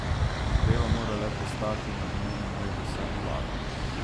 Zadeva mora le pristati na dnevnem redu seje vlade.